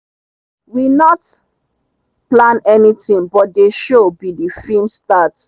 we not plan anything but they show be the film start.